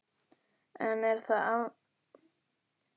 En er þá áfengismælum lögreglu á útihátíðum ekki treystandi?